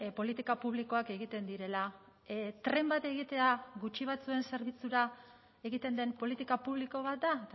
politika publikoak egiten direla tren bat egitea gutxi batzuen zerbitzura egiten den politika publiko bat da